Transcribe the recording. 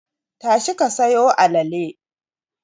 Tashi ka sayo alale!